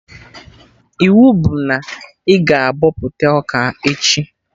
Iwu bụ na ị ga-abọpụta ọka echi!